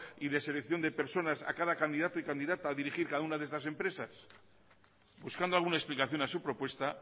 y de selección de personas a cada candidato y candidata a dirigir cada una de estas empresas buscando alguna explicación a su propuesta